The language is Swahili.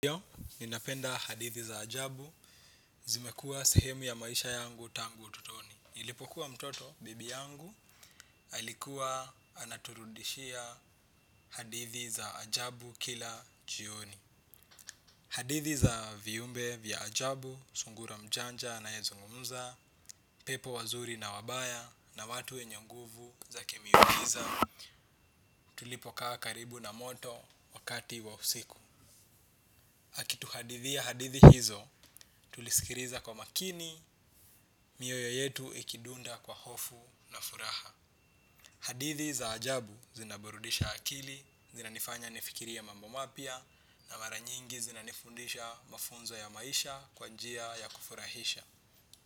Hiyo, ninapenda hadithi za ajabu, zimekuwa sehemu ya maisha yangu tangu utotoni. Nilipokuwa mtoto bibi yangu, alikuwa anaturudishia hadithi za ajabu kila jioni. Hadithi za viumbe vya ajabu, sungura mjanja anayezungumuza, pepo wazuri na wabaya, na watu wenye nguvu za kimiujiza. Tulipokaa karibu na moto wakati wa usiku. Akituhadithia hadithi hizo, tuliskiliza kwa makini, mioyo yetu ikidunda kwa hofu na furaha. Hadithi za ajabu zinaburudisha akili, zinanifanya nifikirie mambo mapya, na maranyingi zinanifundisha mafunzo ya maisha kwa njia ya kufurahisha.